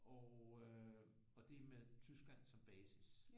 Og øh det er med Tyskland som basis